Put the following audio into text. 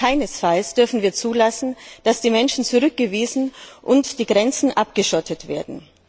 Keinesfalls dürfen wir zulassen, dass die Menschen zurückgewiesen und die Grenzen abgeschottet werden.